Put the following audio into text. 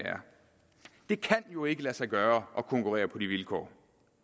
det kan jo ikke lade sig gøre at konkurrere på de vilkår